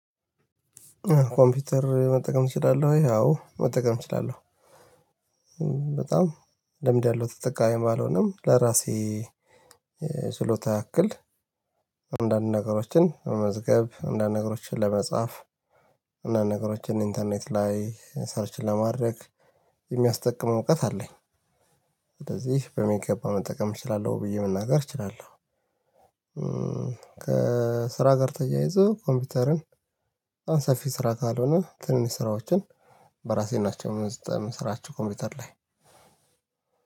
ኮምፒውተር መጠቀም ትችላለህ? ወይ አዎ መጠቀም እችላለሁ። በጣም ልምድ ያለው ተጠቃሚም ባልሆንም ለራሴ ችሎታ ያክል አንዳንድ ነገሮችን መመዝገብ አንዳንድ ነገሮችን ለመጻፍ አንዳንድ ነገሮችን ኢንተርኔት ላይ ሰርች ለማድረግ የሚያስጠቅም እውቀት አለኝ። ስለዚህ በሚገባ መጠቀም እችላለሁ ብዬ መናገር እችላለሁ። ከስራ ጋር ተያይዞ ኮምፒውተርን በጣም ሰፊ ስራ ካልሆነ ትንንሽ ስራዎችን በራሴ ናቸው የምሰራቸው ኮምፒውተር ላይ።